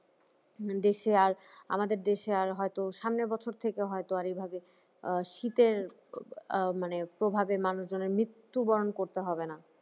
দেশে আর আমাদের দেশে আর হয়ত সামনের বছর থেকে হয়তো আর এভাবে আহ শীতের আহ মানে প্রভাবে মানুষনের মৃত্যুবরণ করতে হবে না